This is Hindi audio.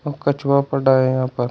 कछुआ पड़ा है यहां पर।